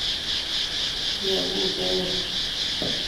Iyamunee oo